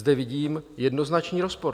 Zde vidím jednoznačný rozpor.